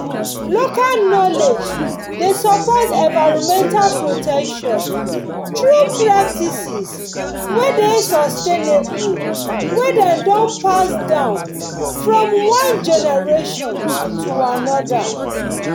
local knowledge dey support environmental protection through practices wey dey sustainable wey dem don pass down from one generation to another